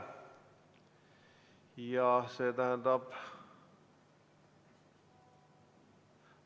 Ja see tähendab...